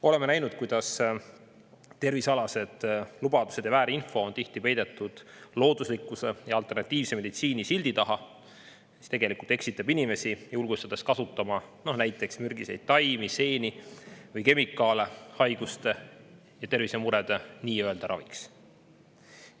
Oleme näinud, kuidas tervisealased lubadused ja väärinfo on tihti peidetud looduslikkuse ja alternatiivse meditsiini sildi taha, mis tegelikult eksitab inimesi, julgustades kasutama näiteks mürgiseid taimi, seeni või kemikaale haiguste ja tervisemurede nii-öelda raviks.